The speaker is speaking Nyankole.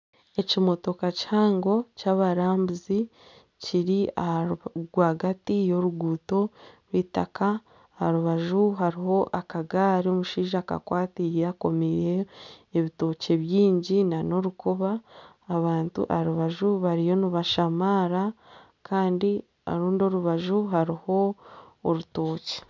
Ekimotoka kihango kyabarambuzi kiri aha rwagati y'oruguuto rw'eitaka aharubaju hariho akagaari omushaija akakwatireire akomiireho ebitookye bingi nana orukoba abantu aharubaju bariyo nibashamaara Kandi orundi orubaju hariho orutookye.